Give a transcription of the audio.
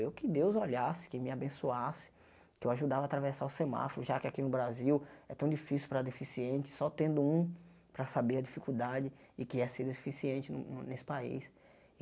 Eu que Deus olhasse, que me abençoasse, que eu ajudava a atravessar o semáforo, já que aqui no Brasil é tão difícil para deficiente, só tendo um para saber a dificuldade e que é ser deficiente no no nesse país.